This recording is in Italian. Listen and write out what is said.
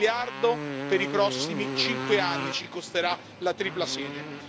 Un miliardo per i prossimi cinque anni, ci costerà la tripla sede.